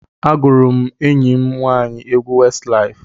Agụụrụ m enyi m nwaanyị egwu Westlaif.